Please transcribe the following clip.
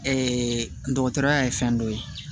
dɔgɔtɔrɔya ye fɛn dɔ ye